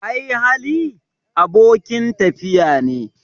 Ai Hali, abokin tafiya ne